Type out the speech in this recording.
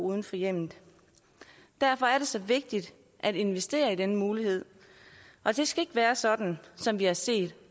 uden for hjemmet derfor er det så vigtigt at investere i denne mulighed og det skal ikke være sådan som vi har set